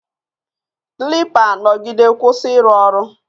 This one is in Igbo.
Klipa nọgide kwụsị ịrụ ọrụ